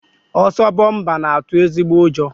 Ọsọ bọmpa na-atụ ezigbo ụjọ